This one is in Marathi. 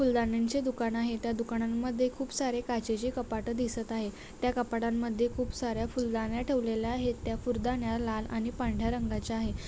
फुलदाण्यांचे दुकान आहे त्या दुकानांमध्ये खूप सारे काचेचे कपाट दिसत आहे त्या कपाटांमध्ये खूप साऱ्या फुलदाण्या ठेवलेल्या आहेत त्या फुलदाण्या लाल आणि पांढऱ्या रंगाच्या आहे.